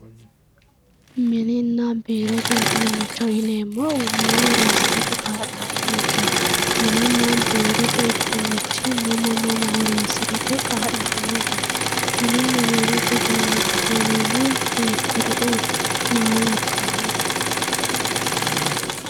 mininna biirote uduunicho yineemohu maa horonsiratte ka'laanonkeho mininna biirote uduunichi mama mama horonsirate kaa'lanonke mininna biirote uduunicho yineemori hiikuri"uuti maa labbannoreeti